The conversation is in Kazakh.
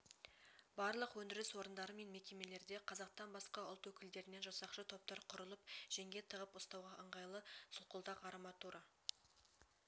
барлық өндіріс орындары мен мекемелерде қазақтан басқа ұлт өкілдерінен жасақшы топтар құрылып жеңге тығып ұстауға ыңғайлы солқылдақ арматура